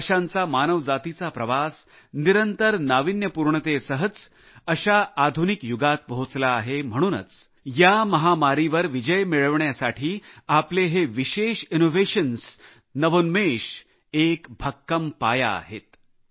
हजारो वर्षांचा मानवजातीचा प्रवास निरंतर नाविन्यपूर्णतेसह अशा आधुनिक युगात पोहोचला आहे म्हणूनच या महामारीवर विजय मिळविण्यासाठी आपले हे विशेष नवोन्मेश एक भक्कम पाया आहेत